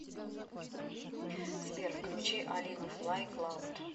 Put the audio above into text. сбер включи алину флай клауд